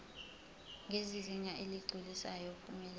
ngezinga eligculisayo uphumelele